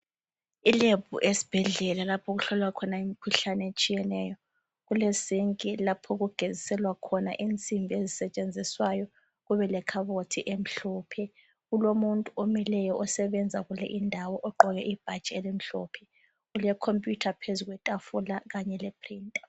Ilebhu esibhedlela lapho okuhlolwa khona imikhuhlane etshiyeneyo. Kulesinki lapho okugeziselwa khona insimbi ezisetshenziswayo. Kubelekhabothi emhlophe. Kulomuntu omileyo osebenza kule indawo ogqoke ibhatshi elimhlophe. Kulekhompuyutha phezu kwetafula kanye lephirinta.